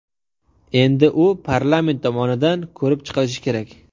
Endi u parlament tomonidan ko‘rib chiqilishi kerak.